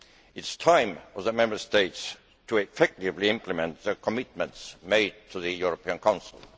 It is time for the Member States to effectively implement the commitments made to the European Council.